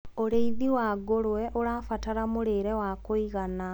ũrĩithi wa ngurwe ũrabatara mũrĩre wa kũigana